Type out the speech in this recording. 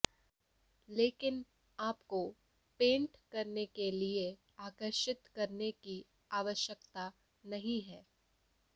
लेकिन आपको पेंट करने के लिए आकर्षित करने की आवश्यकता नहीं है